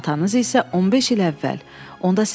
Atanız isə 15 il əvvəl.